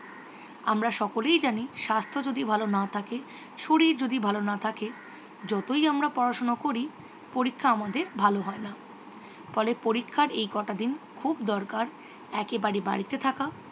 আমরা সকলেই জানি স্বাস্থ্য যদি ভালো না থাকে শরীর যদি ভালো না থাকে যতই আমরা পড়াশুনো করি পরীক্ষা আমাদের ভালো হয় না। ফলে পরীক্ষার এই কটা দিন খুব দরকার একেবারে বাড়িতে থাকা